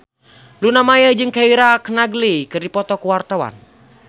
Luna Maya jeung Keira Knightley keur dipoto ku wartawan